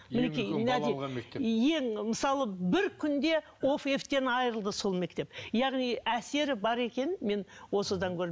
ең мысалы бір күнде айырылды сол мектеп яғни әсері бар екенін мен осыдан көрдім